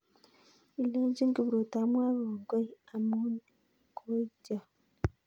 Ilenchini Kipruto amwoe kongoe amu koityon